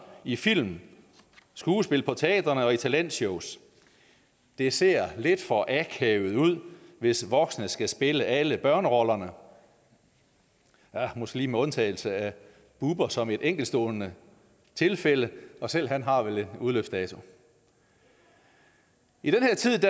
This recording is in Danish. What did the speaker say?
i film skuespil på teatrene og i talentshows det ser lidt for akavet ud hvis voksne skal spille alle børnerollerne ja måske lige med undtagelse af bubber som et enkeltstående tilfælde og selv han har vel en udløbsdato i den her tid